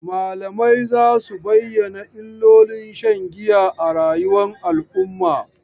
Malamai za su bayyana illolin shan giya a rayuwar al'umma.